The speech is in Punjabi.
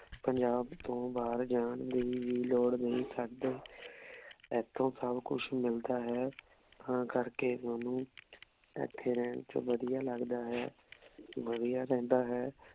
ਪੰਜਾਬ ਤੋਂ ਬਹਿਰ ਜਾਂ ਦੀ ਵੀ ਲੋੜ ਨਹੀਂ ਸਾਡੇ ਏਥੋਂ ਸਬ ਕੁਛ ਮਿਲਦਾ ਹੈ ਤਾਂ ਕਰ ਕੇ ਸਾਨੂ ਏਥੇ ਰਹਿਣ ਵਿਚ ਵਧੀਆ ਲਗਦਾ ਹੈ ਵਾਦਿਯ ਰਹੰਦਾ ਹੈ।